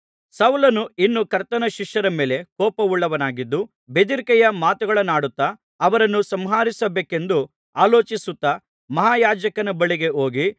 ಸೌಲನು ಇನ್ನೂ ಕರ್ತನ ಶಿಷ್ಯರ ಮೇಲೆ ಕೋಪವುಳ್ಳನಾಗಿದ್ದು ಬೆದರಿಕೆಯ ಮಾತುಗಳನ್ನಾಡುತ್ತಾ ಅವರನ್ನು ಸಂಹರಿಸಬೇಕೆಂದು ಆಲೋಚಿಸುತ್ತಾ ಮಹಾಯಾಜಕನ ಬಳಿಗೆ ಹೋಗಿ